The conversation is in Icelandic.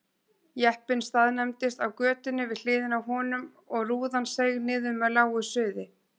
Jeppinn staðnæmdist á götunni við hliðina á honum og rúðan seig niður með lágu suði.